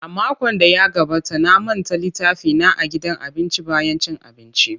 A makon da ya gabata na manta littafina a gidan abinci bayan cin abinci.